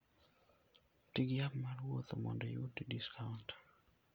Ti gi app mar wuoth mondo iyud discount.